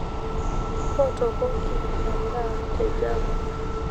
mpotokoki edaa te java